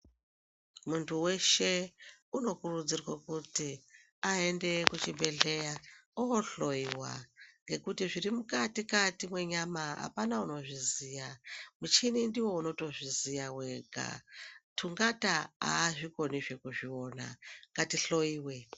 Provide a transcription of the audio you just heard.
Muntu weshe unokurudzirwa kuti aende kuchibhedhlera ohloiwa ngekuti zvirimukati kati mwenyama apana munozviziya, muchini ndiwo unotoziya wega tungata azvikoni azvikoni zvekuzviona ngatihloiwe.